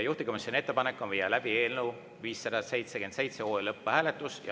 Juhtivkomisjoni ettepanek on viia läbi eelnõu 577 lõpphääletus.